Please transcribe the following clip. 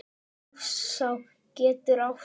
Hofsá getur átt við